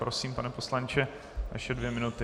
Prosím, pane poslanče, vaše dvě minuty.